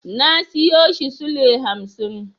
Na siyo shi sule hamsin.